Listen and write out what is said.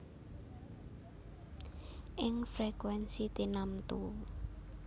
Ing frekuènsi tinamtu